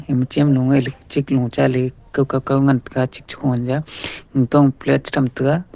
ema chem lung ngaihley chiklung chali kokaukau ngantaga chik che khuli a gag tokma plate che thamtaga.